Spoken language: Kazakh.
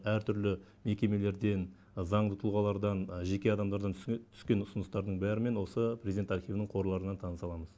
әртүрлі мекемелерден заңды тұлғалардан жеке адамдардан түскен ұсыныстардың бәрімен осы президент архивінің қорларынан таныса аламыз